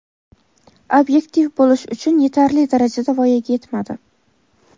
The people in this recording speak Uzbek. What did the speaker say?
ob’yektiv bo‘lish uchun yetarli darajada voyaga yetmadi.